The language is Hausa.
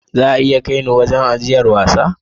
Za a iya kai ni wurin ajiyar wasa?